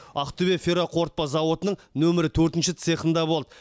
ақтөбе ферроқорытпа зауытының нөмір төртінші цехында болды